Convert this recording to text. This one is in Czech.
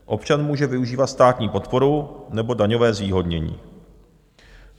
Občan může využívat státní podporu nebo daňové zvýhodnění.